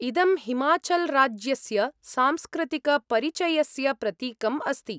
इदं हिमाचल्राज्यस्य सांस्कृतिकपरिचयस्य प्रतीकम् अस्ति।